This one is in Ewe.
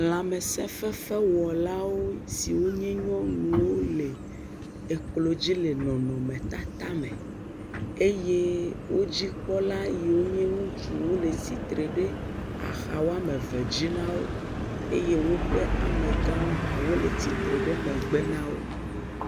Lãmesefefewɔlawo siwo nye nyɔnuwo le eklo dzi le nɔnɔmetata me eye wo dzikpɔla yiwo nye ŋutsuwo le tsitre ɖe axa eve dzi na wo eye woƒe amagãwo hã wole tsitre ɖe megbe na wo.